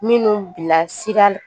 Minnu bila sira